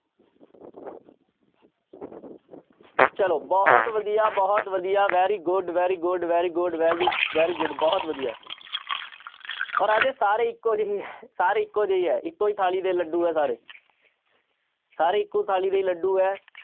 ਚਲੋ ਬਹੁਤ ਵਧੀਆ, ਬਹੁਤ ਵਧੀਆ very good, very good, very good, very, very good ਬਹੁਤ ਵਧੀਆ ਰਾਜੇ ਸਾਰੇ ਇੱਕੋ ਜਿਹੇ ਹੀ ਹੈ ਸਾਰੇ ਇੱਕੋ ਜਿਹੇ ਹੀ ਹੈ ਇੱਕੋ ਹੀ ਥਾਲੀ ਦੇ ਲੱਡੂ ਹੈ ਸਾਰੇ ਸਾਰੇ ਇੱਕੋ ਥਾਲੀ ਦੇ ਹੀ ਲੱਡੂ ਹੈ।